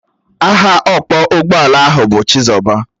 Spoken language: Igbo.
Aha ọkpọ ụgbọala ahụ bu Chizoba